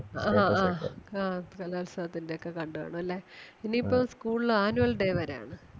ആ ഹാ ഹാ കലോത്സവത്തിന്റെ ഒക്കെ കണ്ട്‌ കാണൂല്ലേ ഇനീപ്പം school ല് annual day വരാണ്